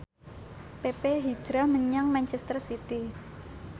pepe hijrah menyang manchester city